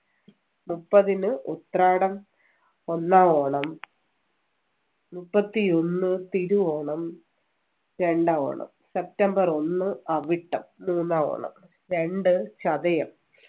മുപ്പതിന് ഉത്രാടം ഒന്നാം ഓണം മുപ്പത്തിയൊന്നു തിരുവോണം രണ്ടാം ഓണം സെപ്റ്റംബർ ഒന്ന് അവിട്ടം മൂന്നാം ഓണം രണ്ട് ചതയം